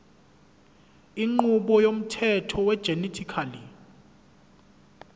inqubo yomthetho wegenetically